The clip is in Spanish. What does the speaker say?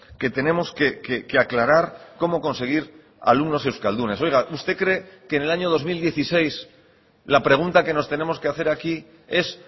que tenemos que aclarar cómo conseguir alumnos euskaldunes oiga usted cree que en el año dos mil dieciséis la pregunta que nos tenemos que hacer aquí es